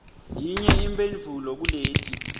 yinye imphendvulo kuleti